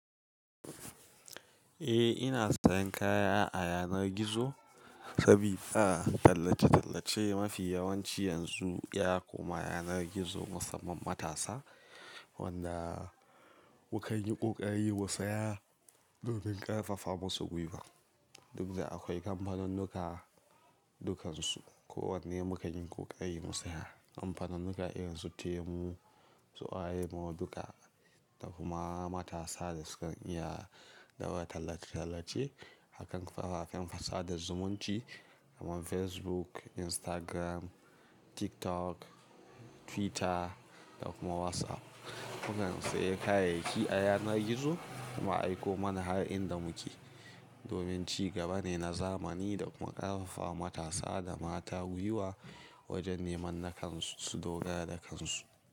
Eh ina sayan kaya a yanar gizo sabida tallace-tallace mafi yawanci yanzu ya koma yanar gizo musamman matasa wanda mukan yi ƙoƙari mu saya domin ƙarfafa masu gwuiwa. Duk da akwai kamfanunnuka dukansu ko wanne mukan yi ƙoƙari mu saya. Kamfanunnuka irin su Temu, su oraimo duka da kuma matasa da sukan iya daura tallace-tallace akan kafafen sada zumunci kaman Facebook, Instagram, TikTok, Twitter da kuma WhatsApp. Mukan sayi kayayyaki a yanar gizo kuma a aiko mana har inda muke domin ci gaba ne na zamani da kuma ƙarfafa ma matasa da mata gwuiwa wajen neman nakansu su dogara da kansu.